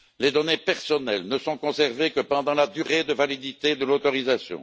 Les données personnelles ne sont conservées que pendant la durée de validité de l'autorisation.